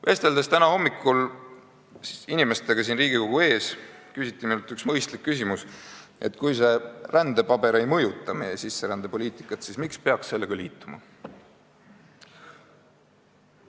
Vesteldes täna hommikul inimestega siin Riigikogu ees, küsiti minult üks mõistlik küsimus: kui see rändepaber ei mõjuta meie sisserändepoliitikat, siis miks peaks sellega liituma?